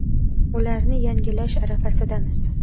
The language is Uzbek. Ularni yangilash arafasidamiz.